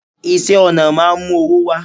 iṣẹ ọna máà ń mú owó wá